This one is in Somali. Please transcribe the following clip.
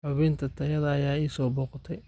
Xubintayada ayaa i soo booqatay